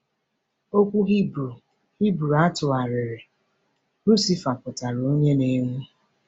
Okwu Hibru Hibru a tụgharịrị “Lucifer” pụtara “onye na-enwu.”